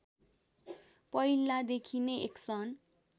पहिलादेखि नै एक्सन